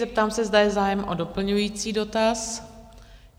Zeptám se, zda je zájem o doplňující dotaz?